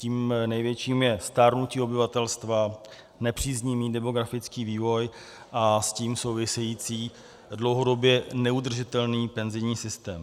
Tím největším je stárnutí obyvatelstva, nepříznivý demografický vývoj a s tím související dlouhodobě neudržitelný penzijní systém.